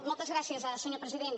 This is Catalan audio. moltes gràcies senyor president